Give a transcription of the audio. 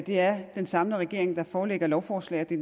det er den samlede regering der forelægger lovforslag og det